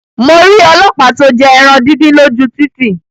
Mo rí ọlọ́pàá to jẹ ẹran díndín lóju títì